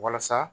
Walasa